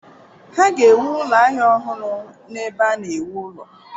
Ha ga-ewu ụlọ ahịa ọhụrụ n’ebe a na-ewu ụlọ